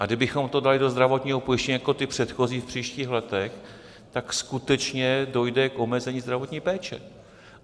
A kdybychom to dali do zdravotního pojištění jako ty předchozí v příštích letech, tak skutečně dojde k omezení zdravotní péče.